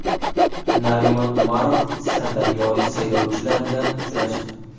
Narimon Umarov sirdaryolik saylovchilar bilan uchrashdi.